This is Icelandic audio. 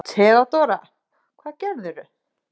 THEODÓRA: Hvað gerðirðu?